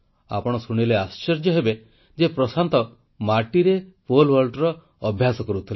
ଆପଣ ଶୁଣିଲେ ଆଶ୍ଚର୍ଯ୍ୟ ହେବେ ଯେ ପ୍ରଶାନ୍ତ ମାଟିରେ ପୋଲ ୱାଲ୍ଟର ଅଭ୍ୟାସ କରୁଥିଲେ